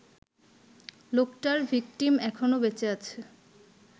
লোকটার ভিকটিম এখনো বেঁচে আছে